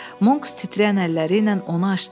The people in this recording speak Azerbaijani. Monks titrəyən əlləri ilə onu açdı.